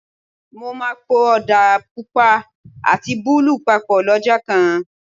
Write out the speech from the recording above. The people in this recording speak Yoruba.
Mo máa po Ọ̀dà Pupa àti búlúù papọ̀ lọ́jọ́ kan.